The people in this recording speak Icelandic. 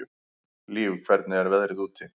Líf, hvernig er veðrið úti?